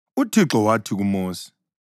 UThixo wathi kuMosi,